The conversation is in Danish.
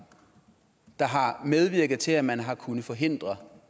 der har medvirket til at man har kunnet forhindre